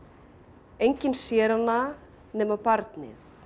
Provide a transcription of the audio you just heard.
enginn sér hana nema barnið